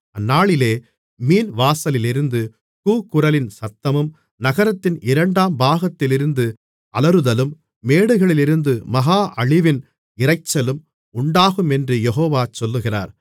அந்நாளிலே மீன்வாசலிலிருந்து கூக்குரலின் சத்தமும் நகரத்தின் இரண்டாம் பாகத்திலிருந்து அலறுதலும் மேடுகளிலிருந்து மகா அழிவின் இரைச்சலும் உண்டாகுமென்று யெகோவா சொல்லுகிறார்